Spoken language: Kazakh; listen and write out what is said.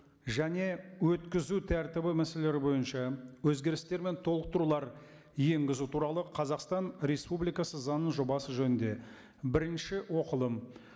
және өткізу тәртібі мәселелері бойынша өзгерістер мен толықтырулар енгізу туралы қазақстан республикасы заңының жобасы жөнінде бірінші оқылым